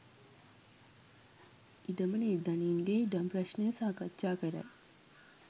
ඉඩම නිර්ධනීන් ගේ ඉඩම් ප්‍රශ්ණය සාකච්ඡා කරයි